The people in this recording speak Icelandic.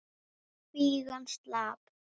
Kvígan slapp.